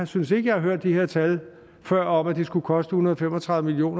synes ikke jeg har hørt de her tal før om at det skulle koste en hundrede og fem og tredive million